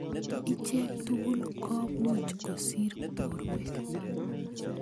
Ichek tugul komuch kosir borwek.